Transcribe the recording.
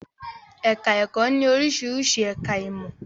Ẹ̀ká ẹ̀kọ́ ní oríṣiríṣi ẹ̀ká ìmọ̀